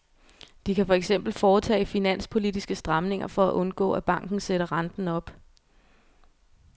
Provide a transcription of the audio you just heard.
De kan for eksempel foretage finanspolitiske stramninger for at undgå, at banken sætter renten op.